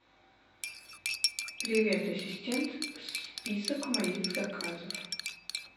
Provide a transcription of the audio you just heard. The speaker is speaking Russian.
привет ассистент список моих заказов